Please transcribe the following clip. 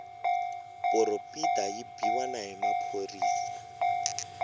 poropita yi biwa na hi maphorisa